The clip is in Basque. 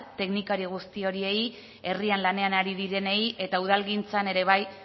teknikari guzti horiei herrian lanean ari direnei eta udalgintzan ere bai